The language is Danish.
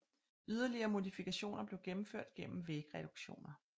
Yderligere modifikationer blev gennemført gennem vægtreduktioner